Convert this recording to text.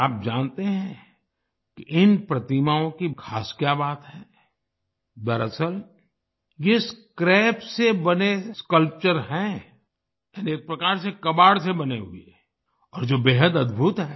क्या आप जानते हैं कि इन प्रतिमाओं की खास क्या बात है दरअसल ये स्क्रैप से बने स्कल्पचर हैं एक प्रकार से कबाड़ से बने हुए और जो बेहद अद्दभुत हैं